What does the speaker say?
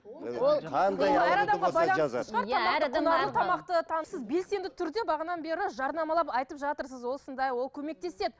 белсенді түрде бағанадан бері жарнамалап айтып жатырсыз осындай ол көмектеседі